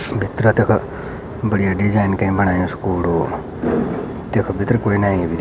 भीतरा देखा बढ़िया डिजाईन कई बणाई स्कूल रोड देखा भीतर कुई ना आयी।